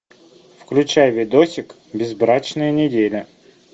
включай видосик безбрачная неделя